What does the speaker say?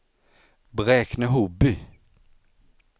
Bräkne-Hoby